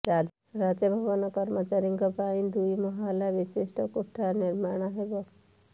ରାଜଭବନ କର୍ମଚାରୀଙ୍କ ପାଇଁ ଦୁଇ ମହଲା ବିଶିଷ୍ଟ କୋଠା ନିର୍ମାଣ ହେବ